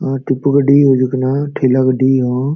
ᱱᱚᱣᱟ ᱴᱮᱢᱯᱩ ᱜᱟᱹᱰᱤ ᱦᱤᱡᱩᱠ ᱠᱟᱱᱟ ᱴᱷᱮᱞᱟ ᱜᱟᱹᱰᱤ ᱦᱚ᱾